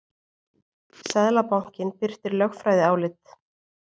Seðlabankinn birtir lögfræðiálit